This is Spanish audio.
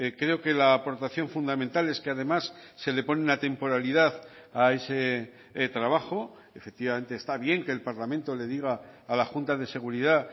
creo que la aportación fundamental es que además se le pone una temporalidad a ese trabajo efectivamente está bien que el parlamento le diga a la junta de seguridad